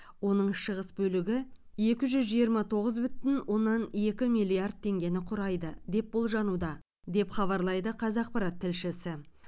оның шығыс бөлігі екі жүз жиырма тоғыз бүтін оннан екі миллиард теңгені құрайды деп болжануда деп хабарлайды қазақпарат тілшісі